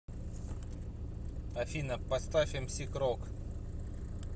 афина поставь эмси крог